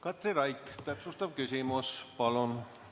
Katri Raik, täpsustav küsimus palun!